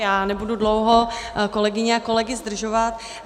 Já nebudu dlouho kolegyně a kolegy zdržovat.